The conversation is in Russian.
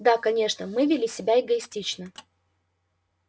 да конечно мы вели себя эгоистично